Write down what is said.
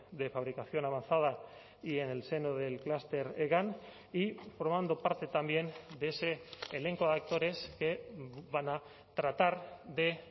de fabricación avanzada y en el seno del clúster hegan y formando parte también de ese elenco de actores que van a tratar de